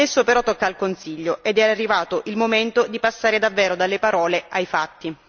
Adesso però tocca al Consiglio ed è arrivato il momento di passare davvero dalle parole ai fatti.